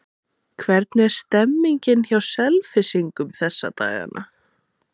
Hvernig er stemmningin hjá Selfyssingum þessa dagana?